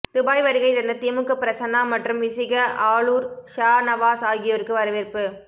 Dubai வருகை தந்த திமுக பிரசன்னா மற்றும் விசிக ஆளூர் ஷாநவாஸ் ஆகியோருக்கு வரவேற்பு